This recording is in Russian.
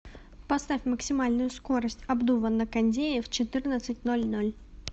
поставь максимальную скорость обдува на кондее в четырнадцать ноль ноль